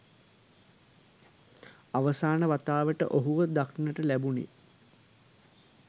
අ‍ව‍සා‍න ‍ව‍තා‍ව‍ට ‍ඔ‍හු‍ව ‍දක්‍න‍ට ‍ලැ‍බු‍නේ